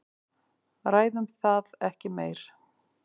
Ræðum það ekki meir.